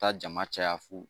Taa jama caya fo